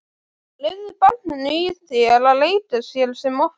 Leyfðu barninu í þér að leika sér sem oftast.